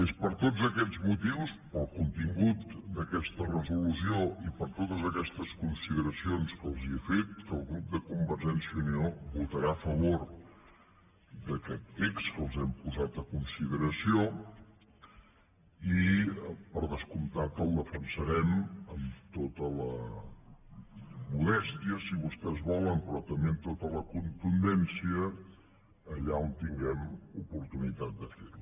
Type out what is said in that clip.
és per tots aquests motius pel contingut d’aquesta resolució i per totes aquestes consideracions que els he fet que el grup de convergència i unió votarà a favor d’aquest text que els hem posat a consideració i per descomptat el defensarem amb tota la modèstia si vostès volen però també amb tota la contundència allà on tinguem oportunitat de fer ho